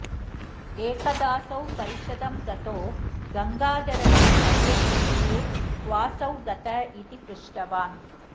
एकदासौ परिषदं गतो गङ्गाधरस्य कवेर्विषये क्वासौ गत इति पृष्टवान्